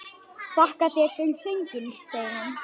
Þakka þér fyrir sönginn, segir hann.